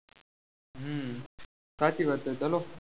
હમ સાચી વાત છે ચાલો